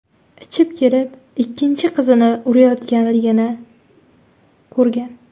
ichib kelib ikkinchi qizini urayotganligini ko‘rgan.